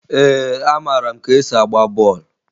Ee, amara m ka e si agba bọọlụ